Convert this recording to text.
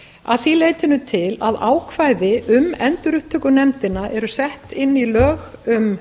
að því leytinu til að ákvæði um endurupptökunefndina eru sett inn í lög um